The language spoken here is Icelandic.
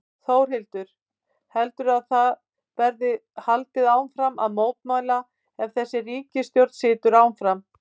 Þórhildur: Heldurðu að það verði haldið áfram að mótmæla ef að þessi ríkisstjórn situr áfram?